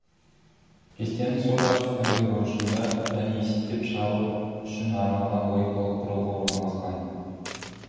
кестенің сол жақ үстіңгі бұрышында және есептеп шығару үшін арналған логикалық құрылғы орналасқан